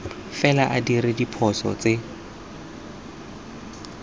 fela a dira diphoso tse